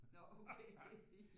Nå okay ja